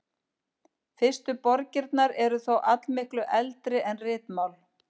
Fyrstu borgirnar eru þó allmiklu eldri en ritmál.